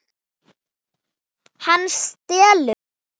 Hann stelst frá okkur.